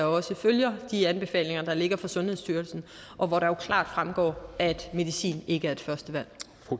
også følger de anbefalinger der ligger fra sundhedsstyrelsen og hvor det jo klart fremgår at medicin ikke er et første valg